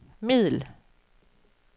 middel